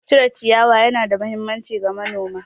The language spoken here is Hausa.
Cire ciyawa ya na da mahimmanci ga manoma